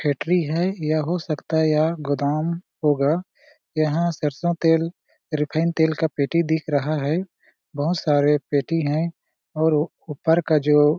factory है या हो सकता है यह गोदाम होगा यहाँ सरसों तेल रिफाइंड तेल का पेटी दिख रहा है बहोत सारे पेटी है और ऊपर का जो--